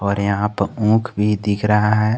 और यहां पे उख भी दिख रहा है।